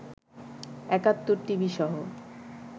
একাত্তর টিভিসহ